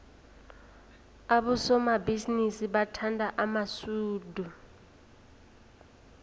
abosomabhizinisi bathanda amasudu